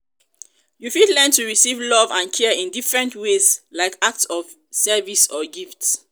you fit learn to receive love and care in different ways like acts of service or gifts.